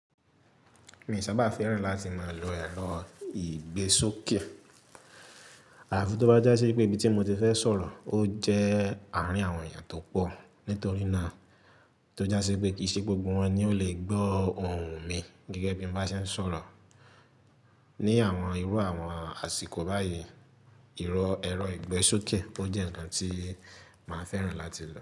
Mi ò sábà fẹ́ràn láti máa lo ẹ̀rọ ìgbésókè. Ààfí tó bá jásí pé ibi tí mo ti fẹ́ sọ̀rọ̀, ó jẹ́ àárín àwọn èèyàn tó pọ̀. Nítorí náà, tó já sí pé kì í ṣe gbogbo wọn ni ó lè gbọ́ ohùn mi gẹ́gẹ́ bí mo bá ṣe ń sọ̀rọ̀. Ni àwọn irú àwọn àsìkò báyìí, ìrọ̀ ẹ̀rọ ìgbésókè ó jẹ́ ǹkan tí màá fẹ́ràn láti lò.